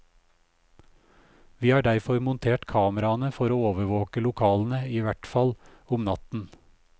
Vi har derfor montert kameraene for å overvåke lokalene i hvert fall om natten.